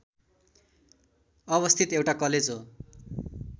अवस्थित एउटा कलेज हो